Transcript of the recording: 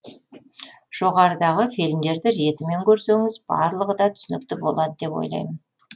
жоғарыдағы фильмдерді ретімен көрсеңіз барлығы да түсінікті болады деп ойлаймын